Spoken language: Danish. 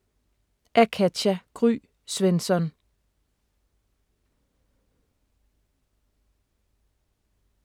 Af Katja Gry Svensson